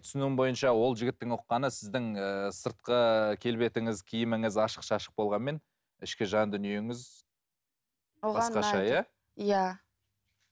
түсінігім бойынша ол жігіттің ұққаны сіздің ыыы сыртқы келбетіңіз киіміңіз ашық шашық болғанмен ішкі жан дүниеңіз